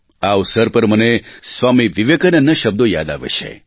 આ અવસર પર મને સ્વામી વિવેકાનંદના શબ્દો યાદ આવે છે